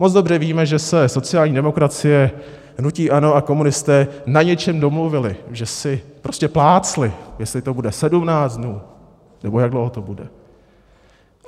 Moc dobře víme, že se sociální demokracie, hnutí ANO a komunisté na něčem domluvili, že si prostě plácli, jestli to bude 17 dnů, nebo jak dlouho to bude.